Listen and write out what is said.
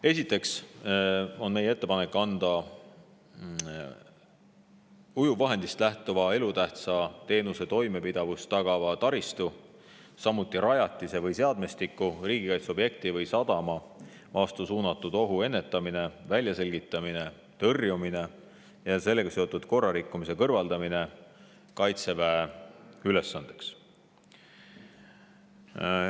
Esiteks on meie ettepanek ujuvvahendist lähtuva elutähtsa teenuse toimepidevust tagava taristu, samuti rajatise või seadmestiku, riigikaitseobjekti või sadama vastu suunatud ohu ennetamine, väljaselgitamine, tõrjumine ja sellega seotud korrarikkumise kõrvaldamine panna Kaitseväe ülesandeks.